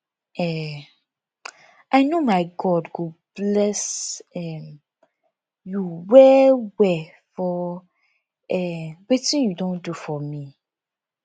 um i know my god go bless um you well well for um wetin you don do for me